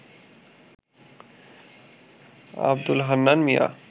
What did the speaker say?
Abdul Hannan Mia